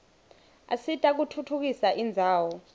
asita kutfutfukisa indzawo